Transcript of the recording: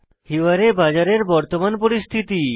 হিওয়ারে বাজার এর বর্তমান স্থিতি